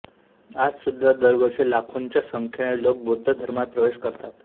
आज सुद्धा दरवर्षी लाखोंच्या संख्येने लोक बौद्ध धर्मात प्रवेश करतात